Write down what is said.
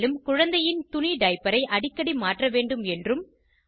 மேலும் குழந்தையின் துணி டைப்பரையை அடிக்கடி மாற்ற வேண்டும் என்றும்